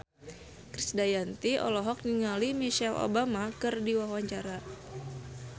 Krisdayanti olohok ningali Michelle Obama keur diwawancara